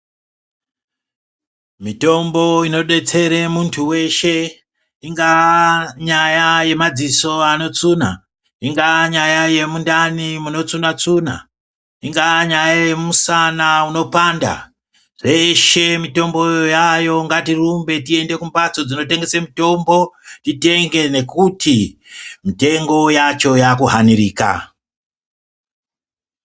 Mitombo inodetsere muntu weshe, ingaa nyaya yemadziso anotsuna, ingaa nyaya yemundani munotsuna-tsuna, ingaa nyaya yemusana unopanda, dzeshe mitomboyo yayo ngatirumbe tiende kumbatso dzinotengesa mitombo, titenge nokuti mitengo yacho yakuhanirika.